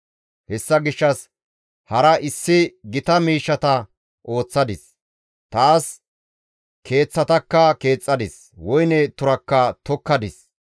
Hessa gishshas hara issi gita miishshata ooththadis; taas keeththatakka keexxadis; woyne turakka tokkadis.